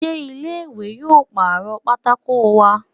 Sé ilé ìwé yóò pàrọ̀ pátákó wa?